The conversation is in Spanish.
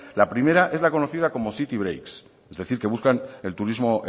la primera es la conocida como city breaks es decir que buscan el turismo